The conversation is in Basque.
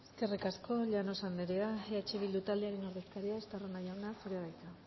eskerrik asko llanos anderea eh bildu taldearen ordezkaria estarrona jauna zurea da hitza